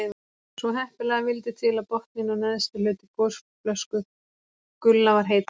Svo heppilega vildi til að botninn og neðsti hluti gosflösku Gulla var heill.